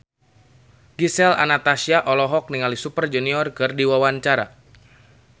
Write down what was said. Gisel Anastasia olohok ningali Super Junior keur diwawancara